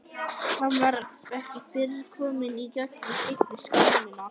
Hann var ekki fyrr kominn í gegnum seinni skálmina en